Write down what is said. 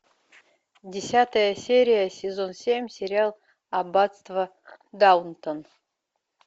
десятая серия сезон семь сериал аббатство даунтон